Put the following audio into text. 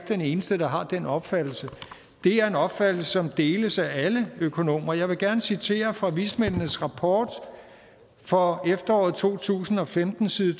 den eneste der har den opfattelse det er en opfattelse som deles af alle økonomer jeg vil gerne citere fra vismændenes rapport fra efteråret to tusind og femten side